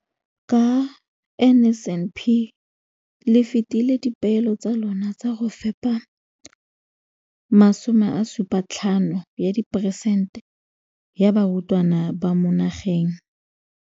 Ka NSNP le fetile dipeelo tsa lona tsa go fepa masome a supa le botlhano a diperesente ya barutwana ba mo nageng.